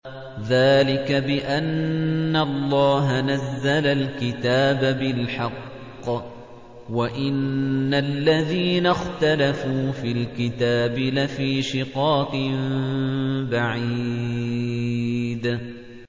ذَٰلِكَ بِأَنَّ اللَّهَ نَزَّلَ الْكِتَابَ بِالْحَقِّ ۗ وَإِنَّ الَّذِينَ اخْتَلَفُوا فِي الْكِتَابِ لَفِي شِقَاقٍ بَعِيدٍ